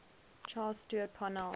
charles stewart parnell